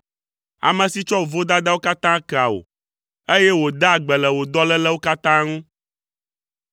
Ame si tsɔ wò vodadawo katã kea wò, eye wòdaa gbe le wò dɔlélewo katã ŋu.